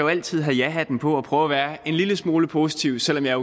altid have jahatten på og prøve at være en lille smule positiv selv om jeg